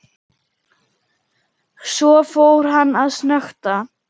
Svo fór hann að snökta.